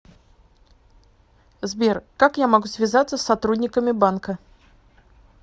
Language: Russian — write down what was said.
сбер как я могу связаться с сотрудниками банка